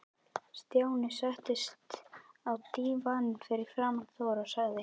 Stjáni settist á dívaninn fyrir framan Þórð og sagði